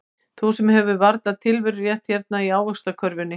Þú sem hefur varla tilverurétt hérna í ávaxtakörfunni.